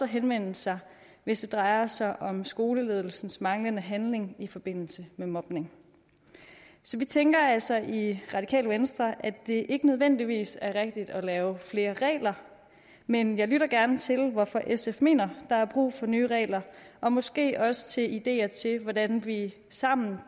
henvende sig hvis det drejer sig om skoleledelsens manglende handling i forbindelse med mobning så vi tænker altså i radikale venstre at det ikke nødvendigvis er rigtigt at lave flere regler men jeg lytter gerne til hvorfor sf mener der er brug for nye regler og måske også til ideer til hvordan vi sammen